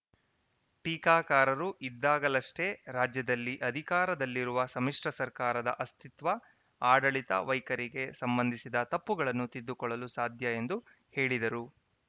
ಟೀಕಾಕಾರರು ಇದ್ದಾಗಲಷ್ಟೇ ರಾಜ್ಯದಲ್ಲಿ ಅಧಿಕಾರದಲ್ಲಿರುವ ಸಮ್ಮಿಶ್ರ ಸರ್ಕಾರದ ಆಸ್ವಿತ್ವ ಆಡಳಿತ ವೈಖರಿಗೆ ಸಂಬಂಧಿಸಿದ ತಪ್ಪುಗಳನ್ನು ತಿದ್ದುಕೊಳ್ಳಲು ಸಾಧ್ಯ ಎಂದು ಹೇಳಿದರು